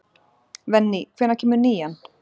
Venný, hvenær kemur nían?